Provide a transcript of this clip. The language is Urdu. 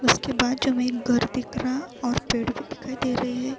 اسکے باجو مے ایک گھر دیکھ رہا اور پیڈ بھی دکھائی دے رہے ہے۔